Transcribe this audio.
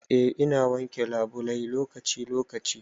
Eh ina wanke labulai lokaci lokaci.